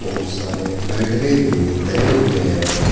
बहुत सारे बैटरे भी धरे हुए हैं।